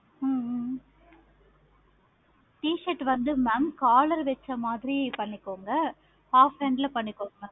ஹம் ஹம் ஹம் t-shirt வந்து mam காலர் வச்ச மாதிரி பண்ணிக்கோங்க. half hand பண்ணிக்கோங்க.